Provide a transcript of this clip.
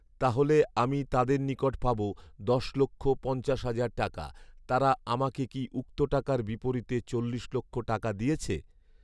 তাহলে আমি তাদের নিকট পাবো দশ লক্ষ পঞ্চাশ হাজার টাকা। তারা আমাকে কি উক্ত টাকার বিপরীতে চল্লিশ লক্ষ টাকা দিয়েছে?